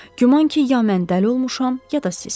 Güman ki, ya mən dəli olmuşam, ya da siz.